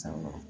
Awɔ